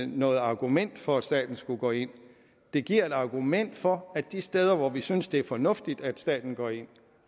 noget argument for at staten skulle gå ind det giver et argument for at de steder hvor vi synes det er fornuftigt at staten går ind